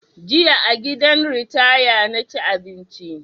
Jiya a gidan ritaya na ci abinci